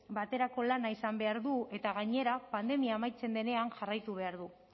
baterako lana izan behar du eta gainera pandemia amaitzen denean jarraitu behar du